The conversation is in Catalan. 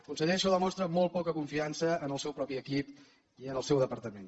conseller això demostra molt poca confiança en el seu propi equip i en el seu departament